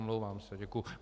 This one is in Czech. Omlouvám se, děkuji.